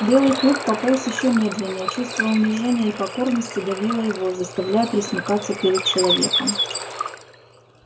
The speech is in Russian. белый клык пополз ещё медленнее чувство унижения и покорности давило его заставляя пресмыкаться перед человеком